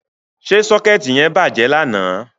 Ṣé sọ́kẹ́ẹ̀tì yẹn bàjẹ́ lánàá.?